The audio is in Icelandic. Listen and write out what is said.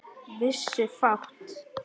Vissu fátt.